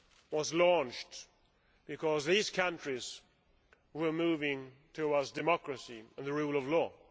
was launched because these countries were moving towards democracy and the rule of law.